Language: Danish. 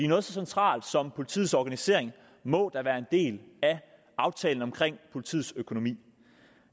noget så centralt som politiets organisering må da være en del af aftalen om politiets økonomi